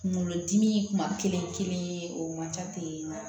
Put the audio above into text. Kunkolodimi kuma kelen kelen o man ca ten wa